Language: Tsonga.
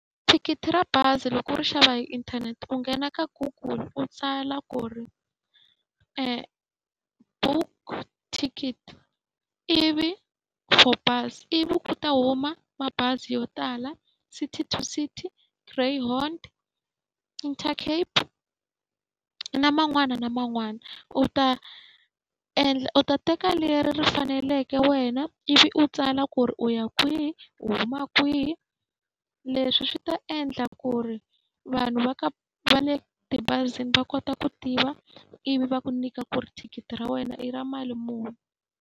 Thikithi ra bazi loko u ri xava hi inthanete u nghena ka Google u tsala ku ri book ticket, ivi for bus. Ivi ku ta huma mabazi yo tala City to City, Greyhound, Intercape na man'wana na man'wana. U ta endla u ta teka leri ri faneleke wena, ivi u tsala ku ri u ya kwihi u huma kwihi, leswi u swi ta endla ku ri vanhu va ka va le tibazini va kota ku tiva ivi va ku nyika ku ri thikithi ra wena i ra mali muni.